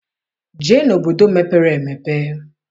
Jee n'obodo mepere emepe!